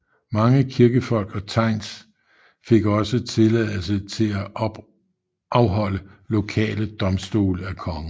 Mange kirkefolk og thegns fik også tilladelse til at afholde lokale domstole af kongen